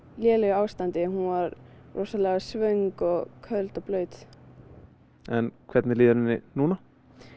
lélegu ástandi hún var rosalega svöng og köld og blaut en hvernig líður henni núna